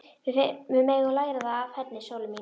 Við megum læra það af henni, sólin mín.